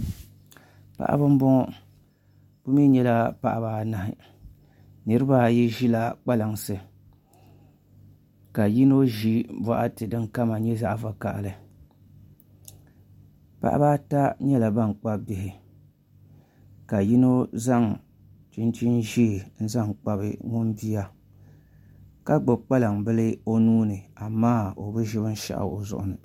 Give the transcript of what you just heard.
Paɣaba n boŋo bi mii nyɛla paɣaba anahi niraba ayi ʒila kpalansi ka yino ʒi baɣati din kama nyɛ zaɣ vakaɣali paɣaba ata nyɛla ban kpabi bihi ka yino zaŋ chinchin ʒiɛ zaŋ kpabi o bia ka gbubi kpalaŋ bili o nuuni amaa o bi ʒiri binshaɣu